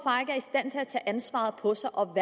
og at tage ansvaret på sig og